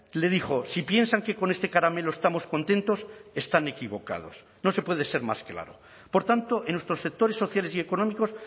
le dijo si piensan que con este caramelo estamos contentos están equivocados no se puede ser más claro por tanto en nuestros sectores sociales y económicos